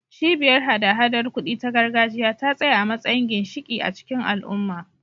Cibiyar hada-hadar kuɗi ta gargajiya ta tsaya a matsayin ginshiƙi a cikin al'umma.